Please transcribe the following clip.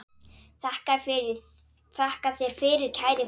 Þakka þér fyrir, kæri frændi.